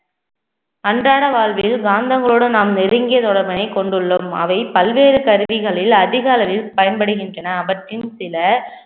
அன்றாட வாழ்வில் காந்தங்களோடு நாம் நெருங்கிய தொடர்பினை கொண்டுள்ளோம் அவை பல்வேறு கருவிகளில் அதிக அளவில் பயன்படுகின்றன அவற்றில் சில